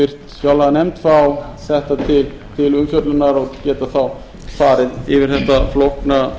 háttvirtri fjárlaganefnd fá þetta til umfjöllunar og geta þá farið yfir þetta flókna